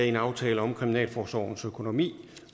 en aftale om kriminalforsorgens økonomi